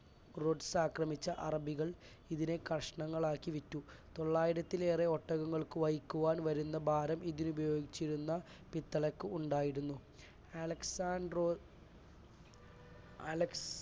ആക്രമിച്ച അറബികൾ ഇതിനെ കഷണങ്ങളാക്കി വിറ്റു. തൊള്ളായിരത്തിലേറെ ഒട്ടകങ്ങൾക്ക് വഹിക്കുവാൻ വരുന്ന ഭാരം ഇതിൽ ഉപയോഗിച്ചിരുന്ന പിത്തളയ്ക് ഉണ്ടായിരുന്നു. അലക്സാട്രോ അലക്സ്